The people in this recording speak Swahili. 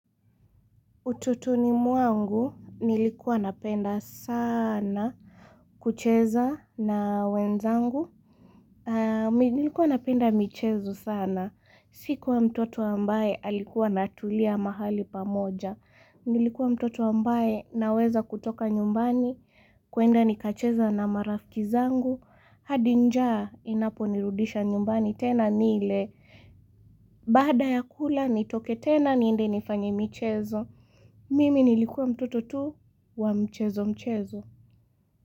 Utotoni mwangu nilikuwa napenda sana kucheza na wenzangu aah mi Nilikuwa napenda michezo sana. Sikuwa mtoto ambaye alikuwa natulia mahali pamoja. Nilikuwa mtoto ambaye naweza kutoka nyumbani. Kuenda nikacheza na marafki zangu. Hadi njaa inaponirudisha nyumbani tena nile. Baada ya kula nitoke tena niende nifanye michezo Mimi nilikuwa mtoto tu wa mchezo mchezo.